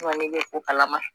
bɛ o kalama